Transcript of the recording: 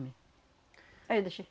Aí eu deixei.